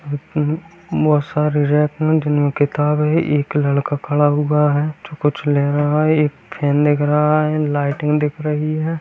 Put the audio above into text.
बहुत सारी रैक है जिनमें किताबें हैं एक लड़का खड़ा हुआ है जो कुछ ले रहा है एक फैन दिख रही है लाइटिंग दिख रही है।